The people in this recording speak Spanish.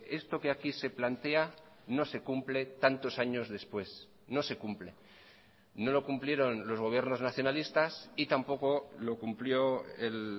esto que aquí se plantea no se cumple tantos años después no se cumple no lo cumplieron los gobiernos nacionalistas y tampoco lo cumplió el